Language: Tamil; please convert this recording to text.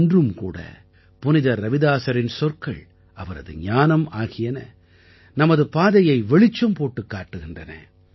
இன்றும் கூட புனிதர் ரவிதாஸரின் சொற்கள் அவரது ஞானம் ஆகியன நமது பாதையை வெளிச்சம் போட்டுக் காட்டுகின்றன